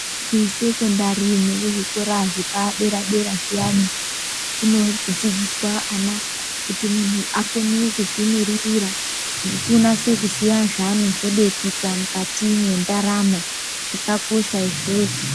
Kusekondari nekuzvikora zvepadera dera zviyani kunodzidziswa ana kuti munhu akone kuzvimiririra unatse kuziya zvaanozode kuita mukati mendaramo ,zvakakosha izvozvo.